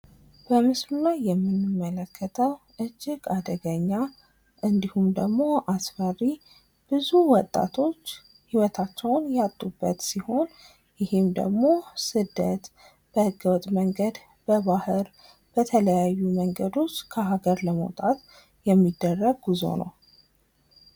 በምስሉ ላይ የምንመልለከተው እጅግ አደገኛ እንዲሁም ደግሞ አስፈሪ ብዙ ወጣቶች ህይወታቸውን ያጡበት ሲሆን፤ ይሄ ደግሞ ስደት በህገወጥ መንገድ፣ በባህር ፣በተለያዩ ማንገዶች ከሀገር ለመውጣት የሚደረግ ጉዞ ነው።